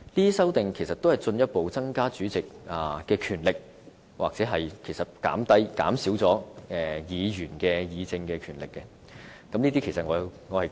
這些修訂其實是進一步增加主席的權力，或減少議員議政的權力，我是難以支持這些修訂的。